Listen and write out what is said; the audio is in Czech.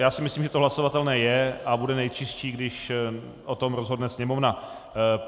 Já si myslím, že to hlasovatelné je a bude nejčistší, když o tom rozhodne Sněmovna.